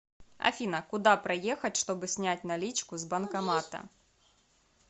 афина куда проехать чтобы снять наличку с банкомата